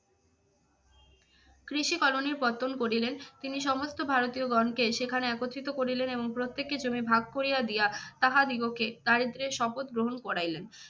কৃষি কলোনি পত্তন করিলেন। তিনি সমস্ত ভারতীয় গণকে সেখানে একত্রিত করিলেন এবং প্রত্যেকের জমির ভাগ করিয়া দিয়া তাহাদিগকে দারিদ্র্যের শপথ গ্রহণ করাইলেন।